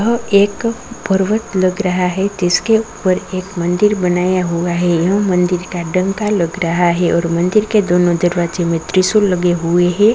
यह एक पर्वत लग रहा है जिसके ऊपर एक मंदिर बनाया हुआ है यह मंदिर का डंका लग रहा है और मंदिर के दोनों दरवाजे में त्रिशूल लगे हुए हैं।